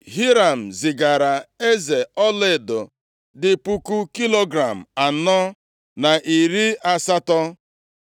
Hiram zigaara eze ọlaedo dị puku kilogram anọ na iri asatọ.